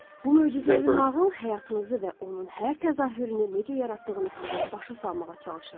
Bu möcüzəvi nağıl həyatınızı və onun hər təzahürünü necə yaratdığını sizə başa salmağa çalışır.